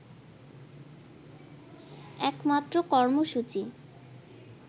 একমাত্র কর্মসূচি